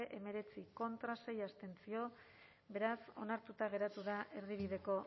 hemeretzi contra sei abstentzio beraz onartuta geratu da erdibideko